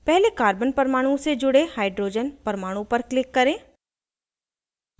पहले carbon परमाणु से जुड़े hydrogen परमाणु पर click करें